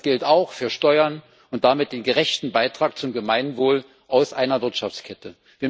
Das gilt auch für Steuern und damit den gerechten Beitrag zum Gemeinwohl aus einer Wirtschaftskette.